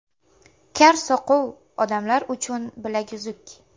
Kar-soqov odamlar uchun bilaguzuk.